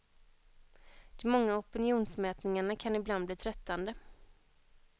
De många opinionsmätningarna kan ibland bli tröttande.